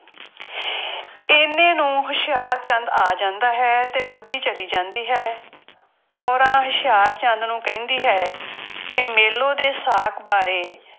ਇੰਨੇ ਨੂੰ ਹੁਸ਼ਿਆਰਚੰਦ ਆ ਜਾਂਦਾ ਹੈ ਤੇ ਬੁੱਢੀ ਚਲੀ ਜਾਂਦੀ ਹੈ, ਕੋਰਾਂ ਹੁਸ਼ਿਆਰਚੰਦ ਨੂੰ ਕਹਿੰਦੀ ਹੈ ਕਿ ਮੇਲੋ ਦੇ ਸਾਕ ਬਾਰੇ